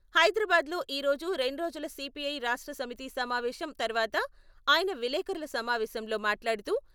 హైదరాబాద్ లో ఈరోజు రెండ్రోజుల సీపీఐ రాష్ట్ర సమితి సమావేశం తర్వాత ఆయన విలేఖరుల సమావేశంలో మాట్లాడుతూ...